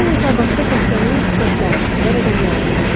Ro hesabatda xəstəliyin xüsusiyyətlərini və rəqəmləri göstərdi.